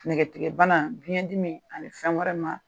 Nɛgɛtigɛbana biɲɛdimi ani fɛn wɛrɛ ma